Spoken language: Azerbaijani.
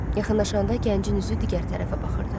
Yaxınlaşanda gəncin üzü digər tərəfə baxırdı.